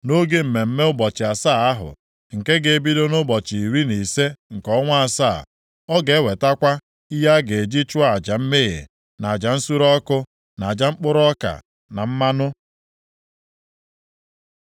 “ ‘Nʼoge mmemme ụbọchị asaa ahụ, nke ga-ebido nʼụbọchị iri na ise nke ọnwa asaa, ọ ga-ewetakwa ihe a ga-eji chụọ aja mmehie na aja nsure ọkụ, na aja mkpụrụ ọka, na mmanụ.